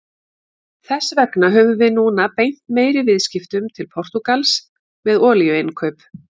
Þess vegna höfum við núna beint meiri viðskiptum til Portúgals með olíuinnkaup.